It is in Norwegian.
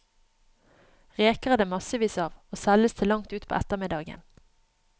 Reker er det massevis av, og selges til langt utpå ettermiddagen.